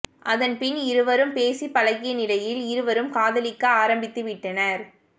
அதன் பின் இருவரும் பேசி பழகிய நிலையில் இருவரும் காதலிக்க ஆரம்பித்துவிட்டனர்